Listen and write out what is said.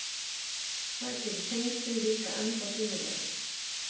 Það gerir tengslin líka ennþá sýnilegri.